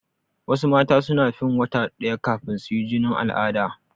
Wasu mata suna fin wata ɗaya kafin suyi jinin al'ada.